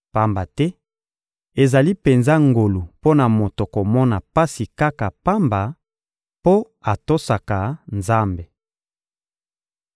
Pamba te ezali penza ngolu mpo na moto komona pasi kaka pamba mpo atosaka Nzambe.